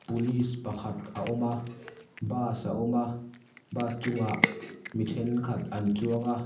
police pakhat a awm a bus a awm a bus chungah mi thenkhan an chuang a--